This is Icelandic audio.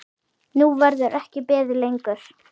Nú verður ekki beðið lengur.